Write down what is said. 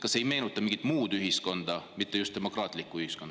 Kas see ei meenuta mingit muud ühiskonda, mitte just demokraatlikku?